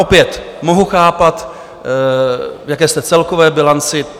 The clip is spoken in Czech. Opět mohu chápat, v jaké jste celkové bilanci.